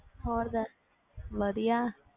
ਹੋਰ ਦੱਸ ਵਧੀਆ